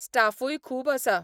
स्टाफूय खूब आसा.